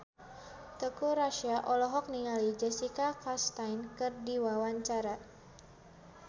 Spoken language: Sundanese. Teuku Rassya olohok ningali Jessica Chastain keur diwawancara